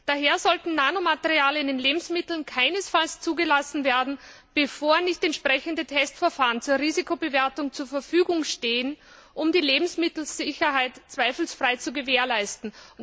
Daher sollten Nanomaterialien in Lebensmitteln keinesfalls zugelassen werden, bevor nicht entsprechende Testverfahren zur Risikobewertung zur Verfügung stehen, um die Lebensmittelsicherheit zweifelsfrei zu gewährleisten.